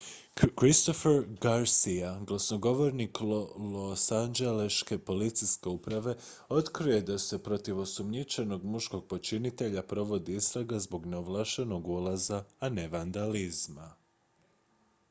christopher garcia glasnogovornik losanđeleške policijske uprave otkrio je da se protiv osumnjičenog muškog počinitelja provodi istraga zbog neovlaštenog ulaza a ne vandalizma